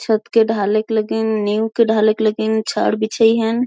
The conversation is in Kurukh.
छत के ढलेक लगीन न्यू के ढलेक लगीन छाड़ बिछाई हेन।